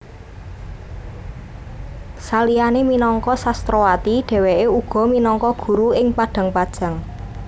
Saliyané minangka sastrawati dhèwèké uga minangka guru ing Padangpanjang